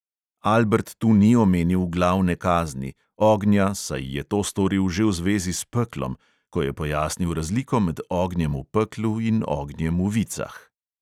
Albert tu ni omenil glavne kazni, ognja, saj je to storil že v zvezi s peklom, ko je pojasnil razliko med ognjem v peklu in ognjem v vicah.